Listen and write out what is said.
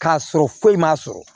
K'a sɔrɔ foyi ma sɔrɔ